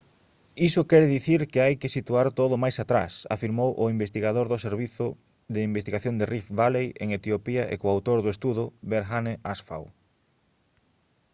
iso quere dicir que hai que situar todo máis atrás» afirmou o investigador do servizo de investigación de rift valley en etiopía e coautor do estudo berhane asfaw